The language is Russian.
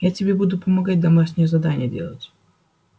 я тебе буду помогать домашнее задание делать